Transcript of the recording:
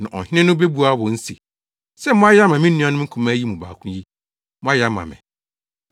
“Na Ɔhene no, bebua wɔn se, ‘Sɛ moayɛ ama me nuanom nkumaa yi mu baako yi, moayɛ ama me!’